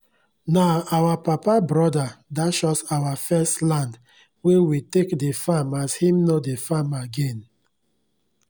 nah our papa broda dash us our first land wey we take dey farm as him nor dey farm again